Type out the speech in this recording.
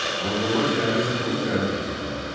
Monqollar şəhəri çətinliklə ələ keçirdilər.